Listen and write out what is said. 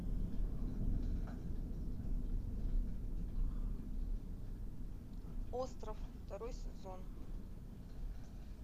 остров второй сезон